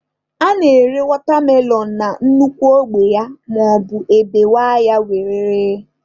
A na-ere watermelon na nnukwu ogbe ya maọbu e bewaa ya were ree.